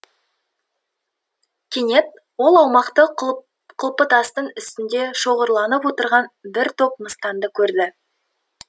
кенет ол аумақты құлпытастың үстінде шоғырланып отырған бір топ мыстанды көрді